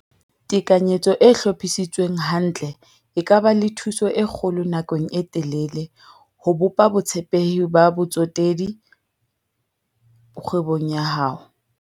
Tekanyetso e hlophisitsweng hantle e ka ba le thuso e kgolo nakong e telele ho bopa botshepehi ba botsetedi kgwebong ya hao.